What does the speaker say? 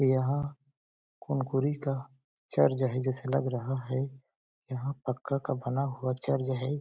यहाँ कुनकुरी का चर्च है जैसे लग रहा है यहाँ पक्का का बना हुआ चर्च हैं ।